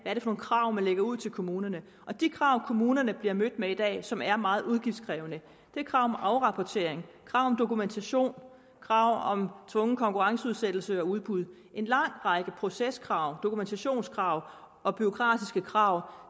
er det for krav man lægger ud til kommunerne de krav kommunerne bliver mødt med i dag og som er meget udgiftskrævende er krav om afrapportering krav om dokumentation krav om tvungen konkurrenceudsættelse og udbud en lang række proceskrav dokumentationskrav og bureaukratiske krav